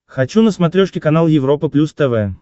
хочу на смотрешке канал европа плюс тв